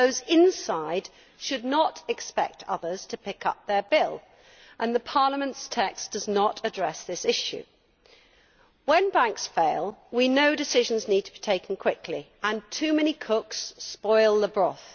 Those inside should not expect others to pick up their bill and Parliament's text does not address this issue. When banks fail, we know decisions need to be taken quickly, and too many cooks spoil the broth.